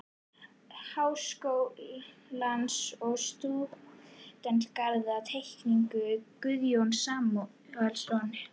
Háskólans og um stúdentagarð-Teikning Guðjóns Samúelssonar